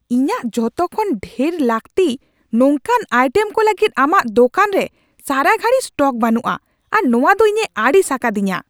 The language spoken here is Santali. ᱤᱧᱟᱹᱜ ᱡᱚᱛᱚᱠᱷᱚᱱ ᱰᱷᱮᱨ ᱞᱟᱹᱠᱛᱤ ᱱᱚᱝᱠᱟᱱ ᱟᱭᱴᱮᱢ ᱠᱚ ᱞᱟᱹᱜᱤᱫ ᱟᱢᱟᱜ ᱫᱳᱠᱟᱱ ᱨᱮ ᱥᱟᱨᱟ ᱜᱷᱟᱹᱲᱤ ᱥᱴᱚᱠ ᱵᱟᱱᱩᱜᱼᱟ ᱟᱨ ᱱᱚᱶᱟ ᱫᱚ ᱤᱧᱮ ᱟᱹᱲᱤᱥ ᱟᱠᱟᱫᱤᱧᱟ ᱾